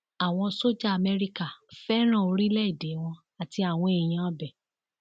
àwọn sójà amẹríkà fẹràn orílẹèdè wọn àti àwọn èèyàn ibẹ